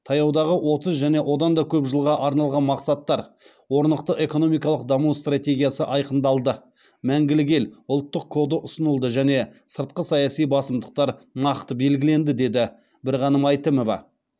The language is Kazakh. таяудағы отыз және одан да көп жылға арналған мақсаттар орнықты экономикалық даму стратегиясы айқындалды мәңгілік ел ұлттық коды ұсынылды және сыртқы саяси басымдықтар нақты белгіленді деді бірғаным әйтімова